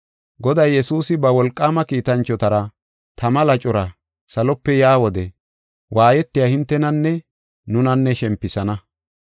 Goday Yesuusi ba wolqaama kiitanchotara, tama lacora salope yaa wode waayetiya hintenanne nuna shempisana.